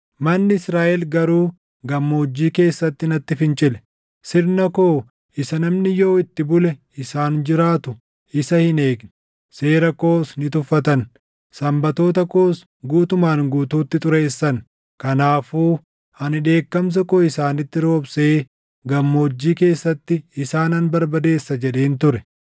“ ‘Manni Israaʼel garuu gammoojjii keessatti natti fincile. Sirna koo isa namni yoo itti bule isaan jiraatu isa hin eegne; seera koos ni tuffatan. Sanbatoota koos guutumaan guutuutti xureessan. Kanaafuu ani dheekkamsa koo isaanitti roobsee gammoojjii keessatti isaanan barbadeessa jedhen ture.